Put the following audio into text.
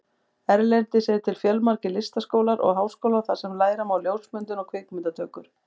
Erlendis eru til fjölmargir listaskólar og háskólar þar sem læra má ljósmyndun og kvikmyndatökur.